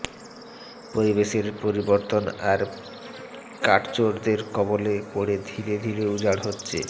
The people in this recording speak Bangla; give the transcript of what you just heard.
পরিবেশের পরিবর্তন আর কাঠচোরদের কবলে পড়ে ধীরে ধীরে উজাড় হচ্ছে